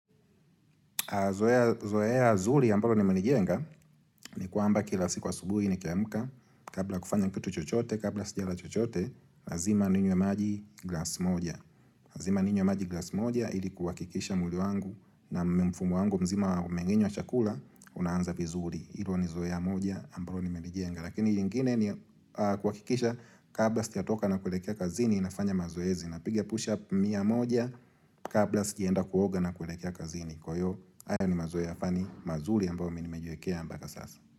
Zoea zuli ambalo ni menijenga Nikwamba kila siku asubuhi nikiamka Kabla kufanya kitu chochote Kabla sijala chochote Lazima ninywe maji glas moja Lazima ninywe maji glas moja ili kuhakikisha mwili wangu na mfumo wangu mzima wa mmengenyo wa chakula Unaanza vizuli Ilo ni zoea moja ambalo nimelijenga Lakini jingine ni kuhakikisha Kabla sija toka na kuelekea kazini nafanya mazoezi Napiga push up mia moja Kabla sijaenda kuoga na kuelekea kazini Kwa hiyo, ayo ni mazoea yafani mazuli ambayo minimejiwekea mbaka sasa.